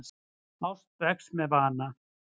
Ást vex með vana.